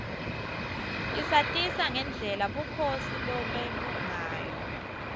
isatisa ngendlela bukhosi lobebungayo